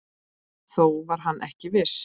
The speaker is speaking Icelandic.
Þó var hann ekki viss.